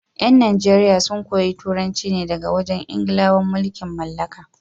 yan Najeriya sun koyi Turanci ne daga wajen Ingilawan mulkin mallaka.